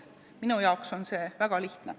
Minu arvates on see väga lihtne.